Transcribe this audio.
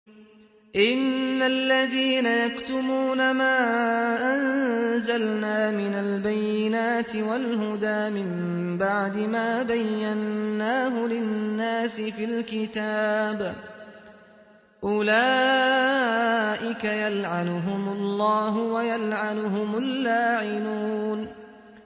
إِنَّ الَّذِينَ يَكْتُمُونَ مَا أَنزَلْنَا مِنَ الْبَيِّنَاتِ وَالْهُدَىٰ مِن بَعْدِ مَا بَيَّنَّاهُ لِلنَّاسِ فِي الْكِتَابِ ۙ أُولَٰئِكَ يَلْعَنُهُمُ اللَّهُ وَيَلْعَنُهُمُ اللَّاعِنُونَ